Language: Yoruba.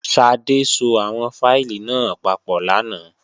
Ṣadé so àwọn fáìlì náà papọ̀ lánàá